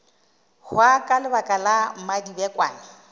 hwa ka lebaka la mmadibekwane